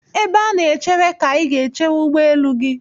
Ebe a na-echere ka ị ga-echere ụgbọelu gị.